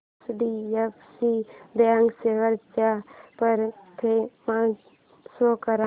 HDFC bank shares चा performance show कर